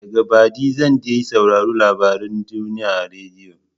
Daga baɗi zan dai sauraron labaren duniya a rediyo.